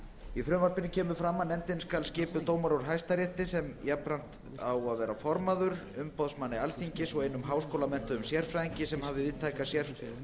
í frumvarpinu kemur fram að nefndin skal skipuð dómara úr hæstarétti sem jafnframt á að vera formaður umboðsmanni alþingis og einum háskólamenntuðum sérfræðingi sem hafi